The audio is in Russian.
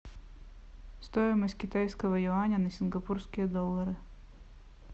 стоимость китайского юаня на сингапурские доллары